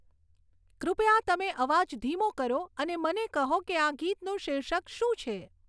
કૃપયા તમે અવાજ ધીમો કરો અને મને કહો કે આ ગીતનું શીર્ષક શું છે